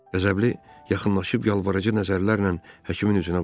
Qəzəbli yaxınlaşıb yalvarıcı nəzərlərlə həkimin üzünə baxdı.